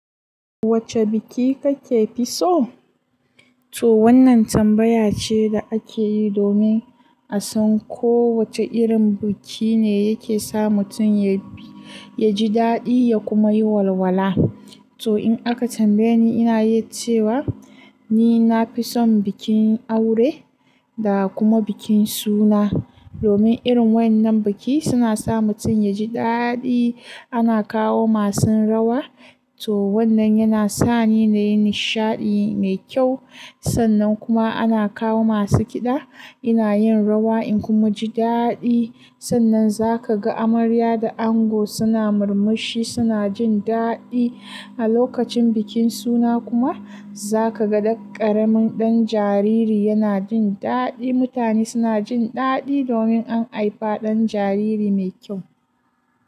Wacce biki kake fi so? To wannan tambaya ce da ake yi domin a san ko wace irin biki ne yake sa mutum ya ji daɗi ya kuma yi walwala. To in aka tambaye ni, ina yi cewa ni na fi son bikin aure da kuma bikin suna. Domin irin wannan biki suna sa mutum ya ji daɗi. Ana kawo masu rawa, to wannan yana sa ni na yi nishaɗi mai kyau. Sannan kuma ana kawo masu kiɗa, ina yin rawa in kuma ji daɗi. Sannan za ka ga amarya da ango suna murmushi, suna jin daɗi. A lokacin bikin suna kuma za ka ga ƙaramin ɗan jariri yana jin daɗi. Mutane suna jin daɗi domin an haifa ɗan jariri mai kyau.